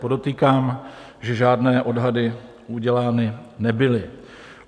Podotýkám, že žádné odhady udělány nebyly.